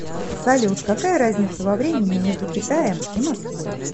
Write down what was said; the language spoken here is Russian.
салют какая разница во времени между китаем и москвой